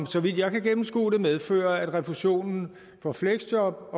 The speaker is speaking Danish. så vidt jeg kan gennemskue det medfører at refusionen på fleksjob